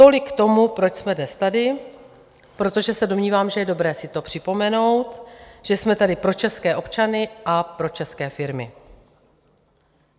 Tolik k tomu, proč jsme dnes tady, protože se domnívám, že je dobré si to připomenout, že jsme tady pro české občany a pro české firmy.